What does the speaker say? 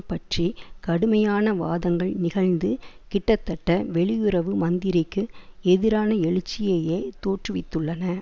பற்றி கடுமையான வாதங்கள் நிகழ்ந்து கிட்டத்தட்ட வெளியுறவு மந்திரிக்கு எதிரான எழுச்சியையே தோற்று வித்துள்ளன